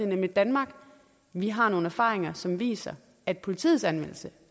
nemlig danmark og vi har nogle erfaringer som viser at politiets anvendelse